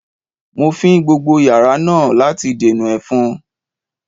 Mo fín gbogbo yàrá náà láti dènà ẹ̀fọn